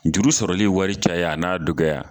Juru sɔrɔli wari caya a n'a dɔgɔya